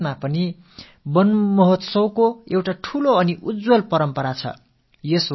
குஜராத்தில் கூட வன மஹோத்ஸவம் என்பது மிகப் பிரபலமான ஒரு பாரம்பரியம்